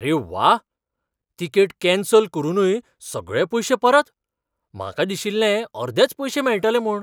अरे व्वा! Ticket cancel करूनय सगळे पयशे परत? म्हाका दिशिल्लें अर्देच पयशे मेळटले म्हूण.